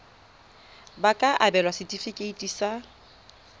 ba ka abelwa setefikeiti sa